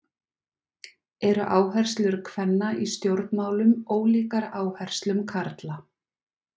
Eru áherslur kvenna í stjórnmálum ólíkar áherslum karla?